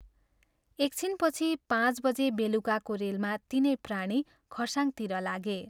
एक छिनपछि पाँच बजे बेलुकाको रेलमा तीनै प्राणी खरसाङतिर लागे।